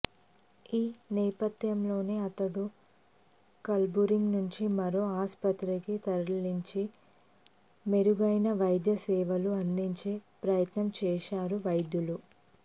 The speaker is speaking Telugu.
ఈ నేపథ్యంలోనే అతన్ని కల్బుర్గీ నుంచి మరో ఆస్పత్రికి తరలించి మెరుగైన వైద్య సేవలు అందించే ప్రయత్నం చేశారు వైద్యులు